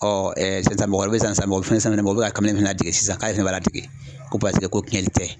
sisan mɔgɔ bɛ san mɔgɔ bɛ fɛn sama u bɛ ka fana tigɛ sisan k'a ɲɛ b'a tigi ko paseke ko tiɲɛni tɛ